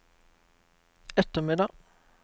ettermiddag